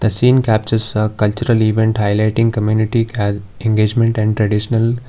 seem captures uh cultural event highlighting community and engagement and traditional.